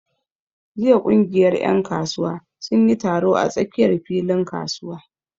Jiya ƙungiyar ƴan kasuwa sun yi taro a tsakiyar filin kasuwa.